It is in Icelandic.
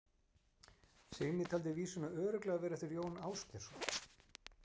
Signý taldi vísuna örugglega vera eftir Jón Ásgeirsson.